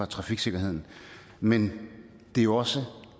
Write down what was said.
trafiksikkerheden men det er jo også